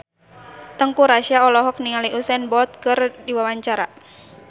Teuku Rassya olohok ningali Usain Bolt keur diwawancara